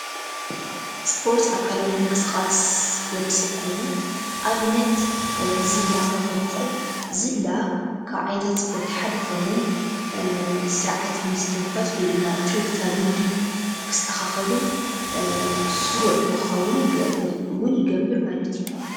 ስፖርት ኣካላዊ ምንቅስቓስ ወዲ ሰብ ኮይኑ ኣብነት ዝላ ክኾን ይኽእል፡፡ ዝላ ካብ ዓይነታት ስፖርት ሓደ ኾይኑ ስርዓት ምስትንፋስ ወይ ድማ ትርግታ ልቢ ክስተኻኸልን ስሩዕ ንኽኸውን ውን ይገብር ማለት እዩ፡፡